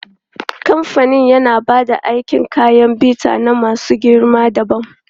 Kamfanin yana ba da kayan aikin bita na masu girma dabam.